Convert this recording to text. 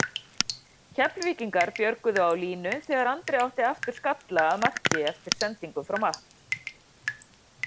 Keflvíkingar björguðu á línu þegar Andri átti aftur skalla að marki eftir sendingu frá Matt.